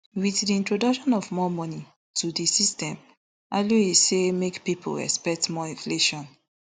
wit di introduction of more money to di system aluyi say make pipo expect more inflation